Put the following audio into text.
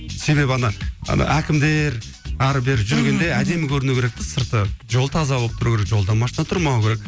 себебі ана ана әкімдер ары бері жүргенде мхм әдемі көріну керек те сырты жол таза болып тұру керек жолда машина тұрмауы керек